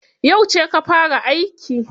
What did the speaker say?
Yauce ka fara aiki?